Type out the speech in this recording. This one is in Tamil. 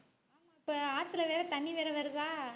இப்ப ஆத்தில வேற தண்ணி வேற வருதா